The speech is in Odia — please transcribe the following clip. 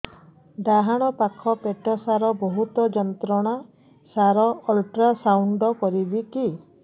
ଡାହାଣ ପାଖ ପେଟ ସାର ବହୁତ ଯନ୍ତ୍ରଣା ସାର ଅଲଟ୍ରାସାଉଣ୍ଡ କରିବି କି